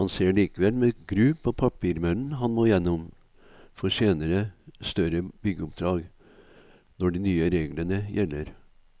Han ser likevel med gru på papirmøllen han må gjennom for senere større byggeoppdrag, når de nye reglene gjelder.